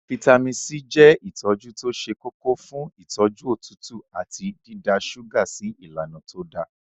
Fítàmì C je itoju to se koko fun itoju otutu ati dida suga si ilana to da.